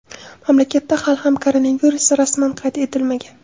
Mamlakatda hali ham koronavirus rasman qayd etilmagan.